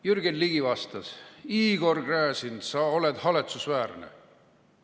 Jürgen Ligi vastas: "Igor Gräzin, sa oled haletsusväärne.